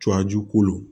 Cɔ a ju kolo